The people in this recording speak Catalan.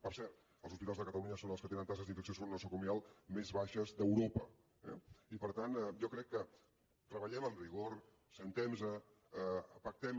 per cert els hospitals de catalunya són els que tenen taxes d’infecció nosocomial més baixes d’europa eh i per tant jo crec que treballem amb rigor asseguem nos pactem